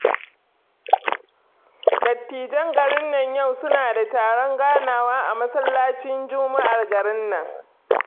Dattijan garin nan yau suna da taron ganawa a masallacin juma'ar garin nan